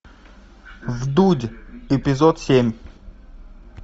вдудь эпизод семь